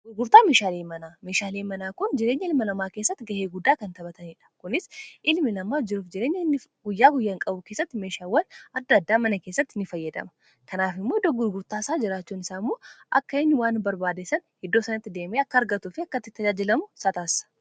Gurgurtaa meeshaalee manaa mishaalee manaa kun jireenya ilma lamaa keessatti ga'ee guddaa kan taphataniidha. Kunis ilmi namaa jiruuf jireenya inni guyyaa guyyaan qabu keessatti meeshaawwan adda addaa mana keessatti ni fayyadama. Kanaaf faayidaa guddaa qaba.